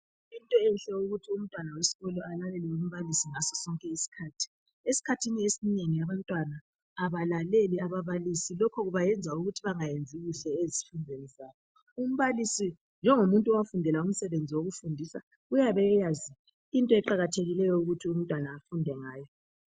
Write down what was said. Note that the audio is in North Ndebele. Yinto enhle ukuthi umntwana wesikolo alalele umbalisi ngaso sonke isikhathi. Esikhathini esinengi abantwana abalaleli ababalisi, lokho kubayenza ukuthi bangayenzi kuhle ezifundweni zabo. Umbalisi njengomuntu owafundela umsebenzi wokufundisa, uyabe eyazi into eqakathekileyo ukuthi umntwana afunde ngayo